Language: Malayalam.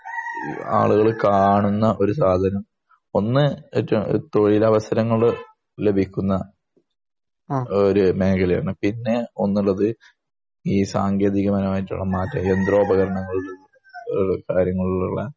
ആളുകള് കാണുന്ന ഒരു സാധനം ഒന്ന് മറ്റെ തൊഴിലവസരങ്ങൾ ലഭിക്കുന്ന ഒരു മേഖലയാണ് പിന്നെ ഒന്നുള്ളത് ഈ സാങ്കേതികപരമായിട്ടുള്ള യന്ത്രോപകരങ്ങള് ഈഹ് കാര്യങ്ങളിലുള്ള